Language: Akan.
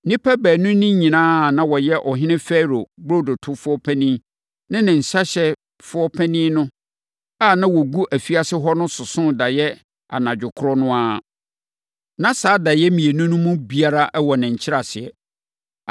nnipa baanu no nyinaa a na wɔyɛ ɔhene Farao burodotofoɔ panin ne nsãhyɛfoɔ panin a na wɔgu afiase hɔ no sosoo daeɛ anadwo korɔ no ara. Na saa daeɛ mmienu no mu biara wɔ ne nkyerɛaseɛ.